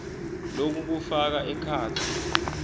loku kufaka ekhatsi